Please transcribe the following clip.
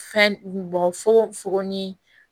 Fɛn bɔ fono fogo ni